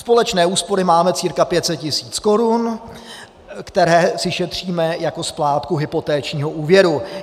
Společné úspory máme cca 500 tisíc korun, které si šetříme jako splátku hypotečního úvěru.